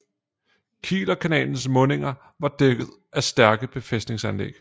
Kielerkanalens mundinger var dækket af stærke befæstningsanlæg